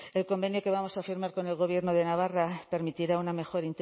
el convenio que vamos a firmar con el gobierno de navarra permitirá una mejor